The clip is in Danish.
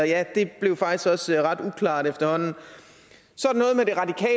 ja det blev faktisk også ret uklart efterhånden så